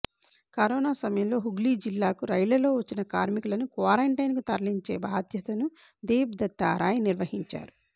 corona సమయంలో హుగ్లీ జిల్లాకు రైళ్లల్లో వచ్చిన కార్మికులను క్వారంటైన్ కు తరలించే బాధ్యతను దేబ్ దత్తా రాయ్ నిర్వహించారు